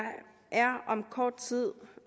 er om kort tid